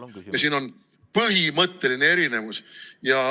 Ja siin on põhimõtteline erinevus.